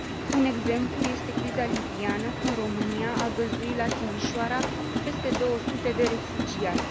Un exemplu este criza libiană, când România a găzduit la Timișoara peste 200 de refugiați.